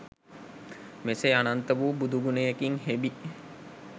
මෙසේ අනන්ත වූ බුදුගුණයකින් හෙබි